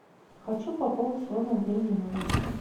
хочу пополнить свой мобильный номер